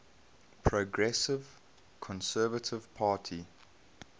progressive conservative party